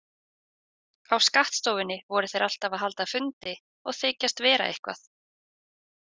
Á skattstofunni voru þeir alltaf að halda fundi og þykjast vera eitthvað.